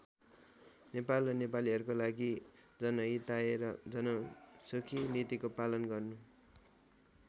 नेपाल र नेपालीहरूको लागि जनहिताय र जनसुखी नीतिको पालन गर्नु।